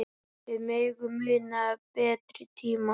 Við megum muna betri tíma.